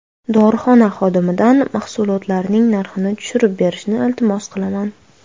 Dorixona xodimidan mahsulotlarning narxini tushirib berishini iltimos qilaman.